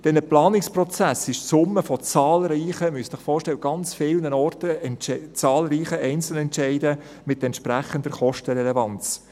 Diese Planungsprozesse sind die Summe von zahlreichen – Sie müssen sich vorstellen, an ganz vielen Orten: von zahlreichen – Einzelentscheiden mit entsprechender Kostenrelevanz.